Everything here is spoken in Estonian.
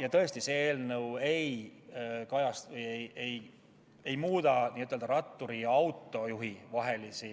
Ja tõesti, see eelnõu ei muuda ratturi ja autojuhi vahelisi